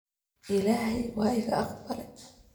Illahey waika Aqbale.